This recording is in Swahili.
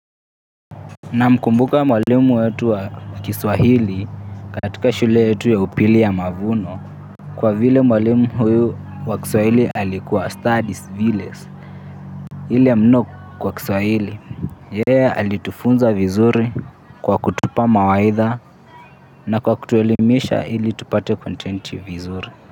Namkumbuka mwalimu wetu wa Kiswahili katika shule yetu ya upili ya mavuno kwa vile mwalimu huyu wa Kiswahili alikuwa studies village ile ya mno kwa Kiswahili. Yeye alitufunza vizuri kwa kutupa mawaitha na kwa kutuelimisha ili tupate content vizuri.